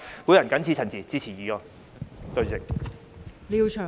我謹此陳辭，支持議案。